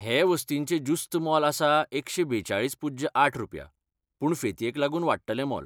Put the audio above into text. हे वस्तीचें ज्युस्त मोल आसा एकशे बेचाळीस पुज्य आठ रुपया, पूण फेतयेक लागून वाडटलें मोल.